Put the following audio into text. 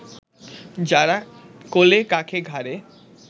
যারা কোলে-কাঁখে, ঘাড়ে